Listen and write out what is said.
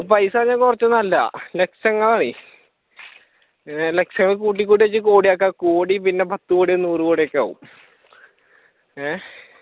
പൈസേന്ന് പറഞ്ഞാൽ കൊറച്ചൊന്നും അല്ല ലക്ഷങ്ങൾ ആണെ പിന്നെ ലക്ഷങ്ങൾ കൂട്ടികൂട്ടി വെച്ച് കോടിയാക്കാം കോടി പിന്നെ പത്ത് കോടിയോ നൂറുകോടിയോ ഒക്കെ ആകു ഏഹ്